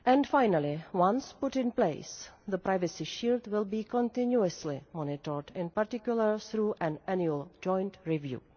Finally, once put in place, the privacy issue will be continuously monitored, in particular through an annual joint review.